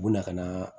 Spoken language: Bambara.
U bɛna ka na